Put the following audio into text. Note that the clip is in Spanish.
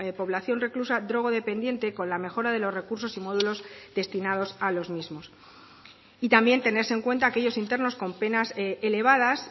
población reclusa drogodependiente con la mejora de los recursos y módulos destinados a los mismos y también tenerse en cuenta aquellos internos con penas elevadas